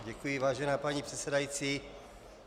Děkuji, vážená paní předsedající.